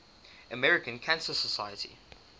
american cancer society